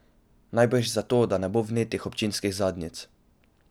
Najbrž zato, da ne bo vnetih občinskih zadnjic.